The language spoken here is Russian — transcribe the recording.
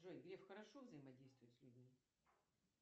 джой греф хорошо взаимодействует с людьми